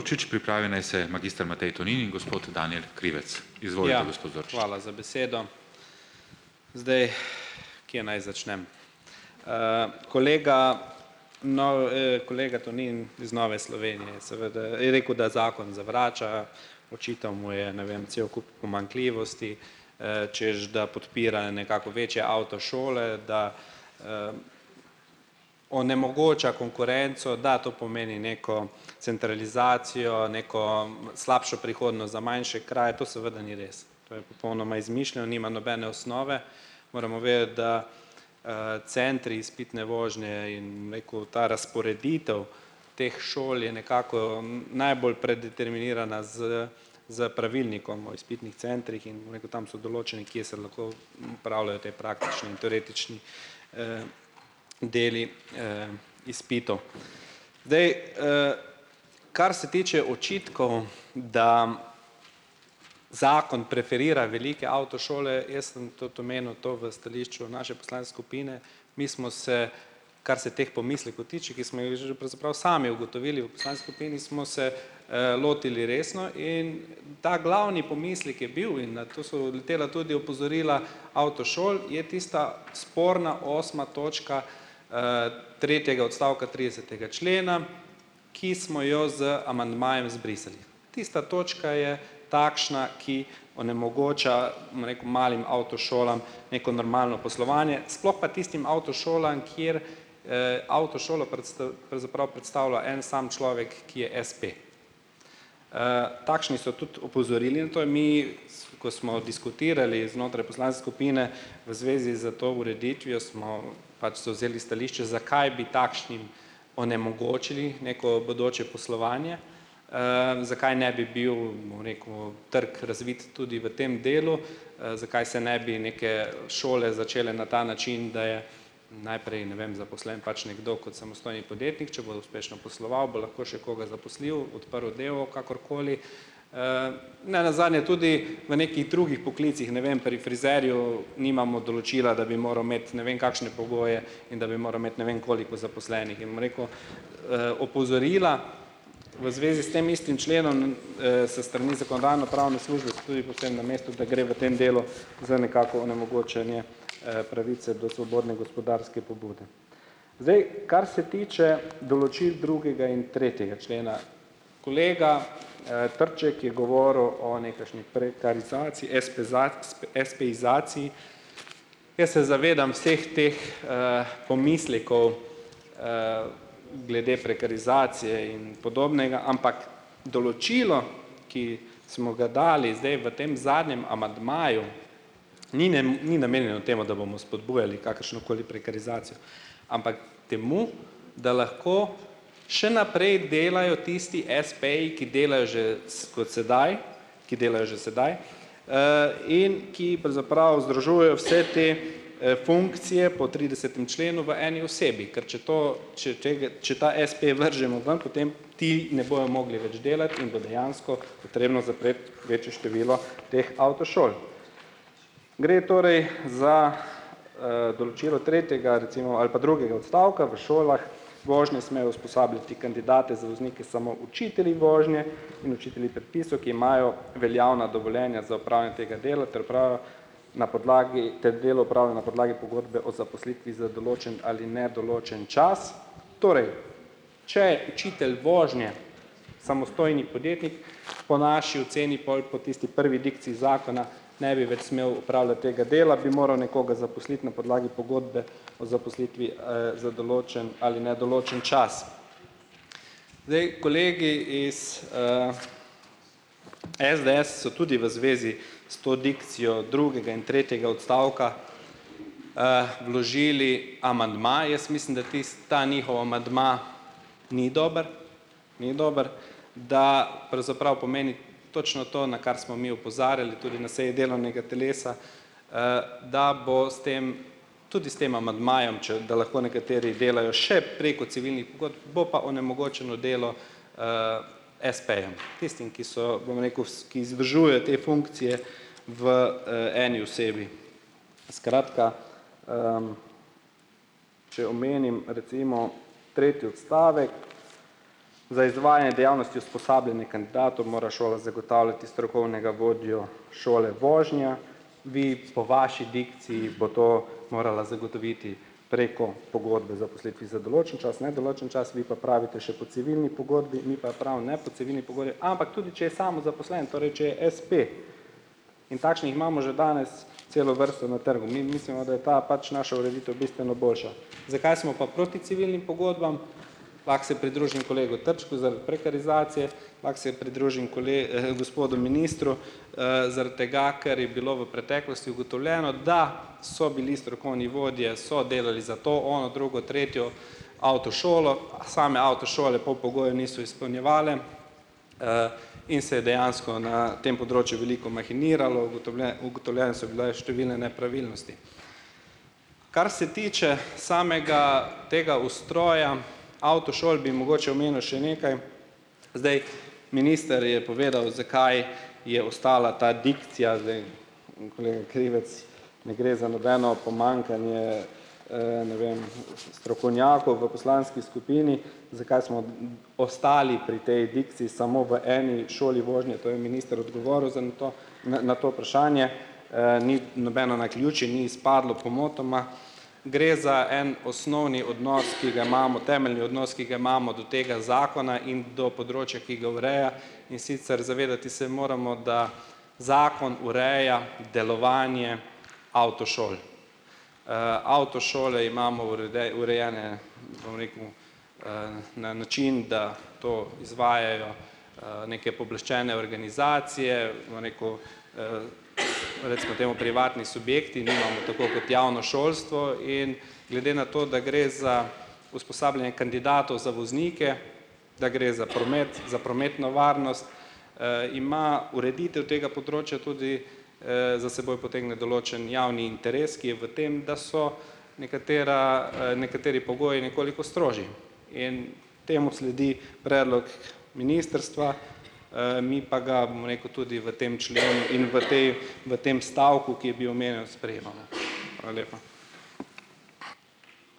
Za besedo. Zdaj, Kje naj začnem? kolega. kolega Tonin iz Nove Slovenije seveda je rekel, da zakon zavrača, očital mu je, ne vem, cel kup pomanjkljivosti, češ da podpira nekako večje avtošole, da, onemogoča konkurenco, da to pomeni neko centralizacijo, neko slabšo prihodnost za manjše kraje. To seveda ni res. To je popolnoma izmišljeno. Nima nobene osnove. Moramo, da, centri izpitne vožnje in ta razporeditev teh šol je nekako najbolj predeterminirana s s pravilnikom o izpitnih centrih in tam so določene, kje se ti praktični in teoretični, deli, izpitov. Zdaj, kar se tiče očitkov, da zakon preferira velike avtošole, jaz sem tudi omenil to v stališču naše skupine. Mi smo se, kar se teh pomislekov tiče, sami ugotovili v smo se, lotili resno in ta glavni pomislek je bil, in na to so letela tudi opozorila avtošol, je tista sporna osma točka, tretjega odstavka tridesetega člena, ki smo jo z amandmajem izbrisali. Tista točka je takšna, ki onemogoča, bom rekel, malim avtošolam neko normalno poslovanje, sploh pa tistim avtošolam, kjer, avtošolo pravzaprav predstavlja en sam človek, ki je espe. takšni so tudi opozorili. Mi, ko smo diskutirali znotraj skupine v zvezi s to ureditvijo, smo pač zavzeli stališče, zakaj bi takšnim onemogočili neko bodoče poslovanje, zakaj ne bi bil, bom rekel, trg razvit tudi v tem delu. zakaj se ne bi neke šole začele na ta način, da je najprej, ne vem, zaposlen pač nekdo kot samostojni podjetnik. Če uspešno posloval, bo lahko še koga zaposlil, odprl d. o. o., kakorkoli. nenazadnje tudi v nekih drugih poklicih, ne vem, pri frizerju nimamo določila, da bi moral imeti ne vem kakšne pogoje in da bi moral imeti ne vem koliko zaposlenih. Rekel, opozorila v zvezi s tem istim členom s strani pravne službe so tudi povsem na mestu, da gre v tem delu za nekako onemogočenje, pravice do svobodne gospodarske pobude. Zdaj, kar se tiče določil drugega in tretjega člena. Kolega, Trček je govoril o nekakšni prekarizaciji, espeizaciji, jaz se zavedam vseh teh, pomislekov, glede prekarizacije in podobnega, ampak določilo, ki smo ga dali zdaj v tem zadnjem amandmaju ni ni namenjeno temu, da bomo spodbujali kakršnokoli prekarizacijo, ampak temu, da lahko še naprej delajo tisti espeji, ki delajo že kot sedaj, ki delajo že sedaj, in ki pravzaprav združujejo vse te, funkcije po tridesetem členu v eni osebi. Ker če to če ta espe vržemo ven, potem ti ne bojo mogli več delati in bo dejansko potrebno zapreti večje število teh avtošol. Gre torej za, določilo tretjega recimo ali pa drugega odstavka, v šolah vožnje smejo usposabljati kandidate za voznike samo učitelji vožnje in učitelji predpisov, ki imajo veljavna dovoljenja tega dela ter na podlagi na pogodbe o zaposlitvi za določen ali nedoločen čas. Torej, če učitelj vožnje, samostojni podjetnik, po naši oceni, pol po tisti prvi dikciji zakona ne bi več smel opravljati tega dela, bi moral nekoga zaposliti na podlagi pogodbe o zaposlitvi, za določen ali nedoločen čas. Zdaj kolegi iz, SDS so tudi v zvezi s to dikcijo drugega in tretjega odstavka, vložili amandma. Jaz mislim, da tisto, ta njihov amandma ni dober, ni dober, da pomeni točno to, na kar smo mi opozarjali tudi na seji delovnega telesa, da bo s tem tudi s tem amandmajem, če da lahko nekateri delajo še preko civilnih pogodb, bo pa onemogočeno delo, espejem, tistim, ki so, bom rekel, ki te funkcije v, eni osebi. Skratka, če omenim recimo tretji odstavek, dejavnosti mora šola zagotavljati strokovnega vodjo šole vožnje. Vi, po vaši dikciji bo to morala zagotoviti preko pogodbe zaposlitvi za določen čas, nedoločen čas, vi pa pravite še po civilni pogodbi, mi pa prav ne po civilni pogodbi, ampak tudi če je samozaposlen, torej če je espe. In takšnih imamo že danes celo vrsto na trgu. Mi mislimo, da je ta pač naša ureditev bistveno boljša. Zakaj smo pa proti civilnim pogodbam? Lahko se pridružim kolegu Trčku, zaradi prekarizacije, lahko se pridružim gospodu ministru, zaradi tega, ker je bilo v preteklosti ugotovljeno, da so bili strokovni vodje, so delali za to, ono, drugo, tretjo avtošolo, same avtošole pol pogojev niso izpolnjevale, in se je dejansko na tem področju veliko mahiniralo, ugotovljene so bile številne nepravilnosti. Kar se tiče samega tega ustroja avtošol, bi mogoče omenil še nekaj. Zdaj, minister je povedal, zakaj je ostala ta dikcija, kolega Krivec, ne gre za nobeno pomanjkanje, ne vem, strokovnjakov v poslanski skupini, zakaj smo ostali pri tej dikciji samo v eni šoli vožnje. To je minister odgovoril zdaj na to, na to vprašanje. ni nobeno naključje, ni izpadlo pomotoma. Gre za en osnovni odnos, ki ga imamo, temeljni odnos, ki ga imamo do tega zakona in do področja, ki ga ureja. In sicer zavedati se moramo, da zakon ureja delovanje avtošol. avtošole imamo urejene, bom rekel, na način, da to izvajajo, neke pooblaščene organizacije, bom rekel, recimo temu privatni subjekti. Nimamo tako kot javno šolstvo in glede na to, da gre za usposabljanje kandidatov za voznike, da gre za promet, za prometno varnost, ima ureditev tega področja tudi, za seboj potegne določen javni interes, ki je v tem, da so nekatera, nekateri pogoji nekoliko strožji in temu sledi predlog ministrstva, mi pa ga, bom rekel, tudi v tem členu in v tej v tem stavku, sprejemamo.